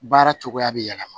Baara cogoya bɛ yɛlɛma